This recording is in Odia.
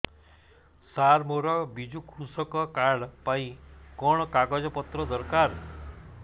ସାର ମୋର ବିଜୁ କୃଷକ କାର୍ଡ ପାଇଁ କଣ କାଗଜ ପତ୍ର ଦରକାର